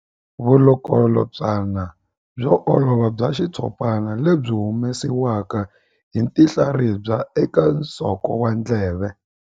Vulukulutswana byo olova bya xitshopana lebyi byi humesiwaka hi tinhlaribya eka nsoko wa ndleve.